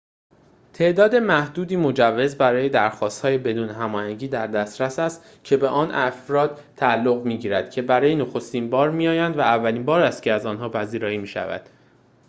تعداد محدودی مجوز برای درخواست‌های بدون هماهنگی در دسترس است که به افردی تعلق می‌گیرد که برای نخستین بار می‌آیند و اولین بار است که از آنها پذیرایی می‌شود